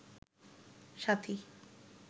সাথী